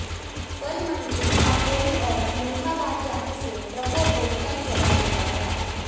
फल मंडी काकोरी और मलिहाबाद जाने से ट्रकों को कई जगह रोका गया